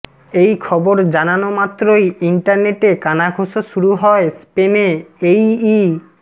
এই খবর জানানো মাত্রই ইন্টারনেটে কানাঘুঁষো শুরু হয় স্পেনে এই ই